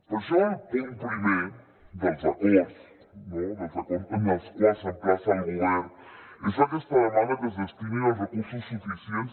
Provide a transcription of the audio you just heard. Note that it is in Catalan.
per això el punt primer dels acords en els quals s’emplaça el govern és aquesta demanda que es destinin els recursos suficients